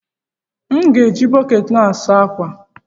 M ga-eji bọkeeti a saa ákwà?